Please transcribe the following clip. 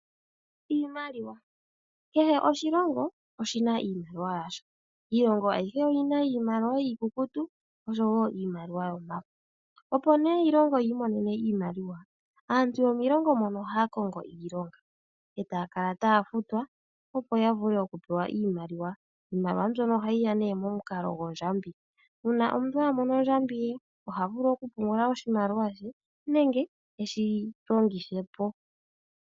Iimaliwa. Kehe oshilongo oshi na iimaliwa yasho. Iilongo ayihe oyi na iimaliwa iikukutu osho wo iimaliwa yomafo. Opo nee iilongo yi imonene iimaliwa, aantu yomiilongo mono ohaya kongo iilonga, eta ya kala taya futwa opo ya vule okupewa iimaliwa. Iimaliwa mbyono ohayi ya nee momukalo gwondjambi. Uuna omuntu a mono ondjambi ye oha vulu okupungula oshimaliwa she nenge eshi longithe po.